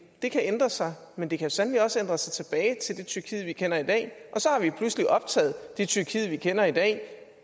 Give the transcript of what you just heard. det kan ændre sig men det kan sandelig også ændre sig tilbage til det tyrkiet vi kender i dag og så har vi pludselig optaget det tyrkiet vi kender i dag